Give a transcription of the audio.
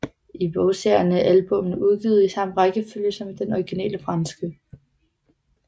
I bogserierne er albummene udgivet i samme rækkefølge som i den originale franske